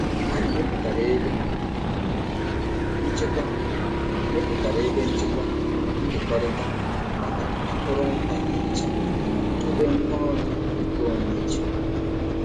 Anyị mepụtara ebe nchekwa mepụtara ebe nchekwa nkekọrịta maka akụrụngwa ihicha mana dobe ngwaọrụ nkeonwe iche.